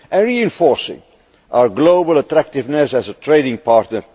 and reinforcing our global attractiveness as a trading partner.